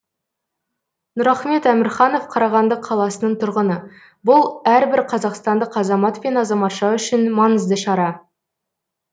нұрахмет әмірханов қарағанды қаласының тұрғыны бұл әрбір қазақстандық азамат пен азаматша үшін маңызды шара